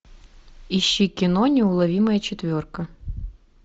ищи кино неуловимая четверка